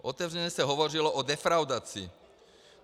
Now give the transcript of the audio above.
Otevřeně se hovořilo o defraudaci.